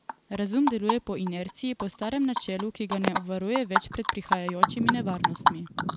Razum deluje po inerciji, po starem načelu, ki ga ne obvaruje več pred prihajajočimi nevarnostmi.